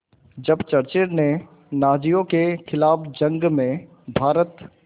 जब चर्चिल ने नाज़ियों के ख़िलाफ़ जंग में भारत